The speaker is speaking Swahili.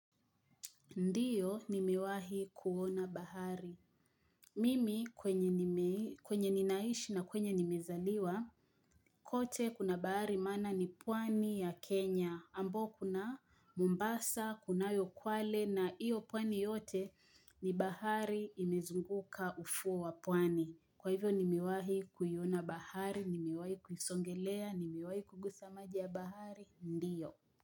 Ndio nimewahi kuona bahari. Mimi kwenye nime kwenye ninaishi na kwenye nimezaliwa. Kote kuna bahari maana ni pwani ya Kenya. Ambao kuna Mombasa, kunayo Kwale na iyo pwani yote ni bahari imezunguka ufuo wa pwani. Kwa hivyo nimewahi kuiona bahari, nimewahi kuisongelea, nimewahi kugusa maji ya bahari, ndio.